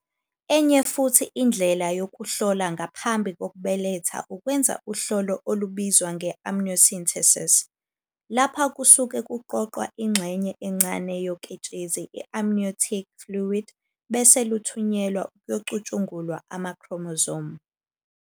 Enye futhi indlela yokuhlola ngaphambi kokubeletha ukwenza uhlolo olubizwa nge-amniocentesis. Lapha kusuke kuqoqwa ingxenye encane yoketshezi i-amniotic fluid bese luthunyelwa ukuyocutshungulwa ama-chromosome.